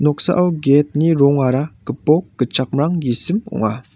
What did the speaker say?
noksao gate-ni rongara gipok gitchakmrang gisim ong·a.